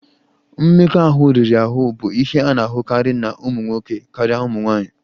Mmekọahụ riri ahụ bụ ihe a na-ahụkarị na ụmụ nwoke karịa ụmụ nwanyị